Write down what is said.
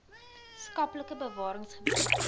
skaplike bewarings gebied